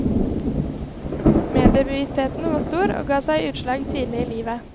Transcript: Mediebevisstheten var stor og ga seg utslag tidlig i livet.